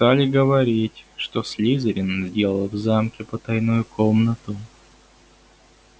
стали говорить что слизерин сделал в замке потайную комнату